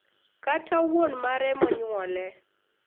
Kata wuon mare monyuole.